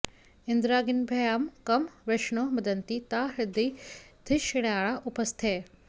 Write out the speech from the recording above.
इ॒न्द्रा॒ग्निभ्यां॒ कं वृष॑णो मदन्ति॒ ता ह्यद्री॑ धि॒षणा॑या उ॒पस्थे॑